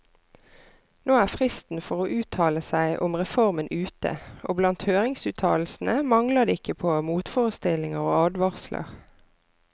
Nå er fristen for å uttale seg om reformen ute, og blant høringsuttalelsene mangler det ikke på motforestillinger og advarsler.